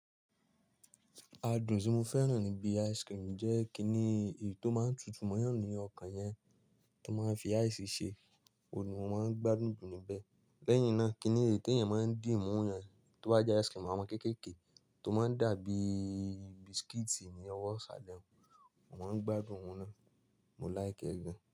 Adùn tí mo fẹ́ràn níbi ice cream jẹ́ kiní èyí tó máa ń tutù mọ́yàn ní ọkàn yẹn tó máa ń fi ice ṣe, òun ni wón máa ń gbádùn jù níbẹ̀. Lẹ́yìn náà, kí ni èyí tí èèyàn máa ń dì mú òun yẹn, tó bá jẹ́ ice cream, àwọn kéékèèké tó máa ń dà bí biscuit ní ọwọ́ ṣàlẹ̀ òun, mo máa ń gbádùn òun náà. Mo like ẹ́ gan.